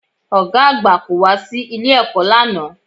Ọ̀gá àgbà kò wá sí ilé-ẹ̀kọ́ lánàá